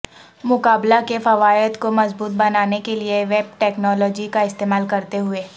مقابلہ کے فوائد کو مضبوط بنانے کے لئے ویب ٹیکنالوجی کا استعمال کرتے ہوئے